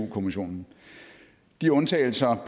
kommissionen de undtagelser